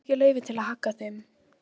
Ég hef ekki leyfi til að hagga þeim.